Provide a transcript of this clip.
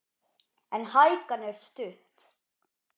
En hækan er stutt.